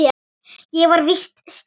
Ég var víst slys.